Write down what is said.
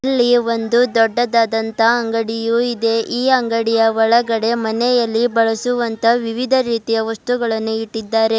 ಇಲ್ಲಿ ಒಂದು ದೊಡ್ಡದಾದಂತಹ ಅಂಗಡಿಯೂ ಇದೆ ಈ ಅಂಗಡಿಯ ಒಳಗಡೆ ಮನೆಯಲ್ಲಿ ಬಳಸುವಂತ ವಿವಿಧ ರೀತಿಯ ವಸ್ತುಗಳನ್ನು ಇಟ್ಟಿದ್ದಾರೆ.